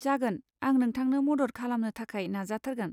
जागोन, आं नोंथांनो मदद खालामनो थाखाय नाजाथारगोन।